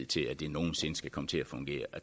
til at det nogen sinde skulle komme til at fungere